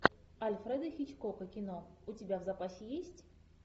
альфреда хичкока кино у тебя в запасе есть